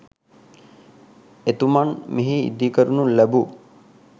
එතුමන් මෙහි ඉදිකරනු ලැබූ